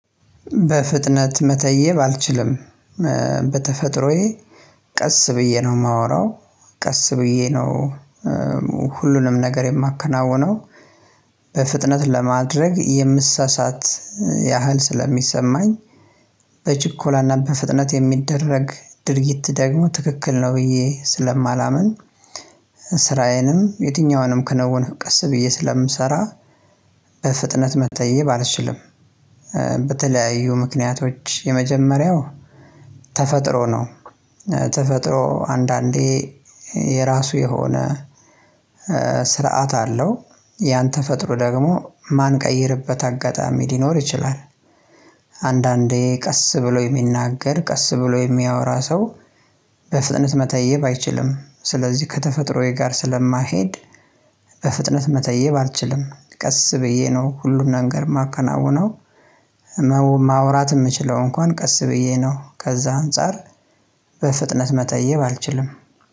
በፍጥነት መተየብ አልችልም። በተፈጥሮዬ ቀስ ብዬ ነው የማወራው ቀስ ብዬ ነው። ሁሉንም ነገር የማከናውነው በፍጥነት ለማድረግ የምሳሳት ያህል ስለሚሰማኝ በችኮላና በፍጥነት የሚደረግ ድርጊት ደግሞ ትክክል ነው ብዬ ስለማላምን። ስራዬንም የትኛውንም ከንውን ቀስ ብዬ ስለምሰራ በፍጥነት መተዬብ አልችልም። በተለያዩ ምክንያቶች የመጀመሪያው ተፈጥሮ ነው ተፈጥሮ አንዳንዴ የራሱ የሆነ ስርዓት አለው ያን ተፈጥሮ ደግሞ ማንቀይርበት አጋጣሚ ሊኖር ይችላል። አንዳንዴ ቀስ ብሎ የሚናገር ቀስ ብሎ የሚያወራ ሰው በፍጥነት መተየብ አይችልም ስለዚህ ከተፈጥሮዬ ጋር ስለማይሄድ። በፍጥነት መተየብ አልችልም ቀስ ብዬ ነው ሁሉን ነገር የማከናውነው። ህመሙን ማውራት የምችለው እንኳን ቀስ ብዬ ነው ከዛ አንፃር በፍጥነት መጠየብ አልችልም።